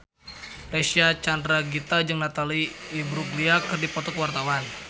Reysa Chandragitta jeung Natalie Imbruglia keur dipoto ku wartawan